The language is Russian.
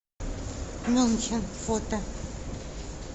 мюнхен фото